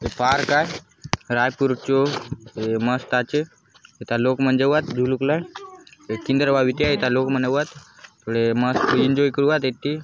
ये पार्क आय रायपुर चो ये मस्त आचे ए था लोग मन जाऊआत बुलुक लाय ए किंदर बा बीति आय ए था लोग मन एवात थोड़े मस्त एंजॉय करुवात इति।